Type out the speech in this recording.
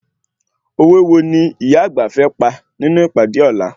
Òwe wo ni ìyá àgbà fẹ́ pa nínú ìpàdé ọ̀la?